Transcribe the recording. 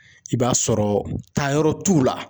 I b'a sɔrɔ taayɔrɔ t'u la.